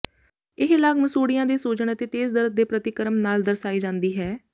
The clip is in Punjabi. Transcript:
ਇਹ ਲਾਗ ਮਸੂਡ਼ਿਆਂ ਦੇ ਸੁੱਜਣ ਅਤੇ ਤੇਜ਼ ਦਰਦ ਦੇ ਪ੍ਰਤੀਕਰਮ ਨਾਲ ਦਰਸਾਈ ਜਾਂਦੀ ਹੈ